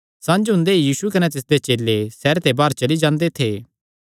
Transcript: संझ हुंदे ई यीशु कने तिसदे चेले सैहरे दे बाहर चली जांदे थे